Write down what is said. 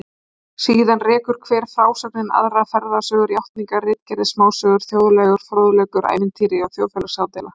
Síðan rekur hver frásögnin aðra, ferðasögur, játningar, ritgerðir, smásögur, þjóðlegur fróðleikur, ævintýri, þjóðfélagsádeila